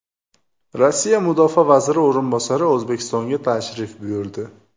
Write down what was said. Rossiya mudofaa vaziri o‘rinbosari O‘zbekistonga tashrif buyurdi.